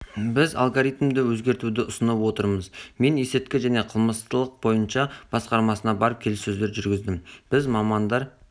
біз алгоритмді өзгертуді ұсынып отырмыз мен есірткі және қылмыстылық бойынша басқармасына барып келіссөздер жүргіздім біз мамандар